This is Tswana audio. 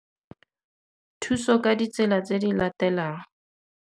Thuso ka ditsela tse di latelang.